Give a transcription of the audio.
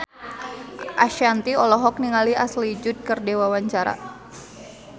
Shanti olohok ningali Ashley Judd keur diwawancara